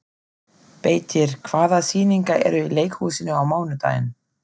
Beitir, hvaða sýningar eru í leikhúsinu á mánudaginn?